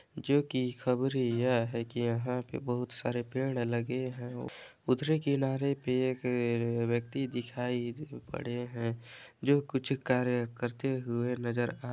जो की खबर यह है की यहाँ पे बहुत सारे पेड़ लगे हैं उतरे किनारे पे एक आ व्यक्ति दिखाई दे पड़े हैं जो कुछ कार्य करते हुए नज़र आ--